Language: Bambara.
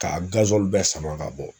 Ka bɛɛ sama ka bɔ.